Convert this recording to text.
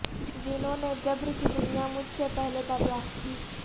جنھوں نے جبر کی دنیا مجھ سے پہلے دریافت کی